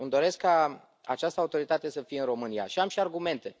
Îmi doresc ca această autoritate să fie în România și am și argumente.